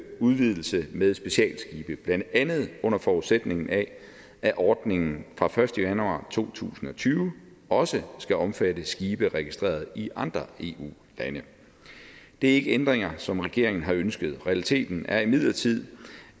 udvidelse med specialskibe blandt andet under forudsætning af at ordningen fra den første januar to tusind og tyve også skal omfatte skibe registreret i andre eu lande det er ikke ændringer som regeringen har ønsket realiteten er imidlertid